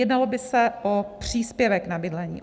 Jednalo by se o příspěvek na bydlení.